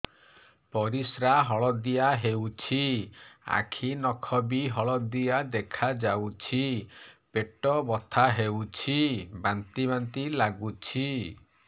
ପରିସ୍ରା ହଳଦିଆ ହେଉଛି ଆଖି ନଖ ବି ହଳଦିଆ ଦେଖାଯାଉଛି ପେଟ ବଥା ହେଉଛି ବାନ୍ତି ବାନ୍ତି ଲାଗୁଛି